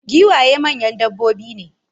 giwaye manyan dabbobi ne